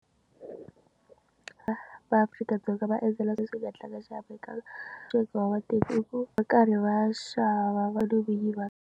Va Afrika-Dzonga va endzela sweswo hi nga tlanga xa Afrika-Dzonga i ku va karhi va xava va .